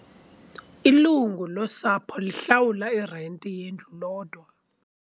Ilungu losapho lihlawula irenti yendlu lodwa.